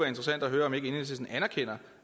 interessant at høre om ikke enhedslisten anerkender